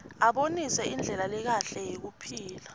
abonisa indlela lekahle yekuphila